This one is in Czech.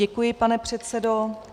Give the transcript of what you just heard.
Děkuji, pane předsedo.